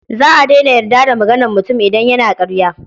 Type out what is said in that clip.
Za a daina yarda da maganar mutum idan yana ƙarya.